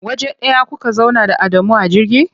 Waje ɗaya kuka zauna da Adamu a jirgi?